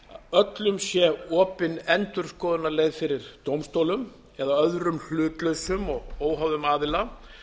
öllum sé opinn endurskoðunarleið fyrir dómstólum eða öðrum hlutlausum og óháðum aðila